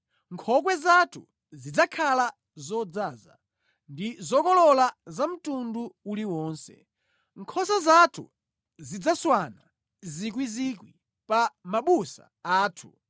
Nkhokwe zathu zidzakhala zodzaza ndi zokolola za mtundu uliwonse. Nkhosa zathu zidzaswana miyandamiyanda pa mabusa athu.